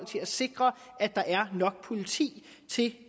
til at sikre at der er nok politi til